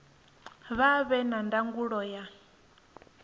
vha vhe na ndangulo ya